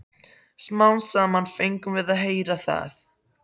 Smám saman fengum við að heyra það.